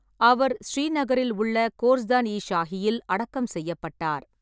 அவர் ஸ்ரீநகரில் உள்ள கோர்ஸ்தான் இ ஷாஹியில் அடக்கம் செய்யப்பட்டார்.